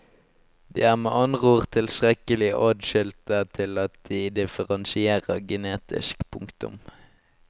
De er med andre ord tilstrekkelig atskilte til at de differensierer genetisk. punktum